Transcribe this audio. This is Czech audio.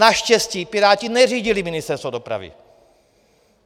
Naštěstí Piráti neřídili Ministerstvo dopravy.